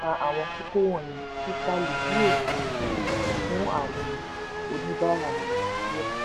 uhm àwọn kókó wọnyìí sí starlink yóò ṣì jà fún àwọn oníbàárà nàìjíríà.